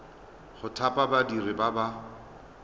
go thapa badiri ba ba